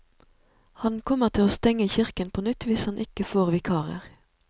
Han kommer til å stenge kirken på nytt hvis han ikke får vikarer.